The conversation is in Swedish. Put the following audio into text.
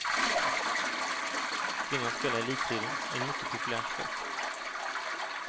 Kvinnan spelar i elitserien i en mycket populär sport.